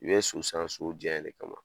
U bɛ so san so diyayen de kama